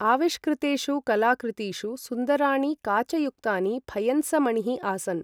आविष्कृतेषु कलाकृतीषु सुन्दराणि काचयुक्तानि फयन्समणिः आसन् ।